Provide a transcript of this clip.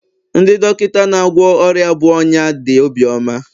ndị dọkịta na-agwọ ọrịa bụ ọnya dị obiọma